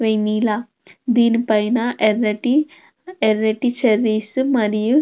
vanilla దీని పైన ఎర్రటి ఎర్రటి చెర్రీస్ మరియు --